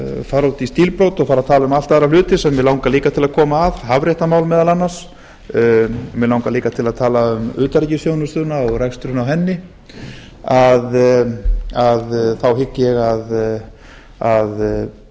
fara út í stílbrot og fara að tala um allt aðra hluti sem mig langar líka að koma að hafréttarmál meðal annars mig langar líka að tala um utanríkisþjónustuna og reksturinn á henni að þá hygg ég að